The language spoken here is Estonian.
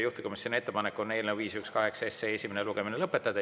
Juhtivkomisjoni ettepanek on eelnõu 518 esimene lugemine lõpetada.